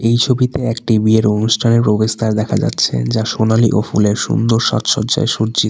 এই ছবিতে একটি বিয়ের অনুষ্ঠানের প্রবেশদ্বার দেখা যাচ্ছে যা সোনালী ও ফুলের সুন্দর সাজসজ্জায় সজ্জিত।